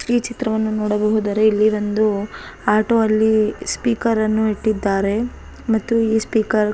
ಈ ಚಿತ್ರವನ್ನು ನೋಡಬಹುದಾದರೆ ಇಲ್ಲಿ ಒಂದು ಆಟೋ ಅಲ್ಲಿ ಸ್ಪೀಕರನ್ನು ಇಟ್ಟಿದ್ದಾರೆ ಮತ್ತು ಇ ಸ್ಪೀಕರ್ --